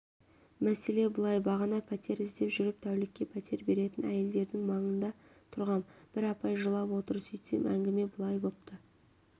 мәселе былай бағана пәтер іздеп жүріп тәулікке пәтер беретін әйелдердің маңында тұрғам бір апай жылап отыр сөйтсем әңгіме былай бопты